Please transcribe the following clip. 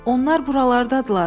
Onlar buralardadırlar.